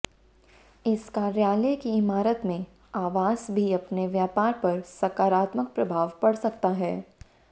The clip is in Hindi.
इस कार्यालय की इमारत में आवास भी अपने व्यापार पर सकारात्मक प्रभाव पड़ सकता है